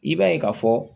I b'a ye k'a fɔ